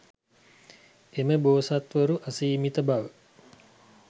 එම බෝසත්වරු අසීමිත බව